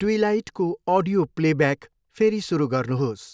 ट्विलाइटको audio playback फेरि सुरु गर्नुहोस्।